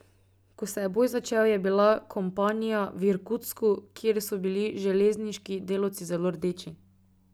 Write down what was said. Ko se je boj začel, je bila kompanija v Irkutsku, kjer so bili železniški delavci zelo rdeči.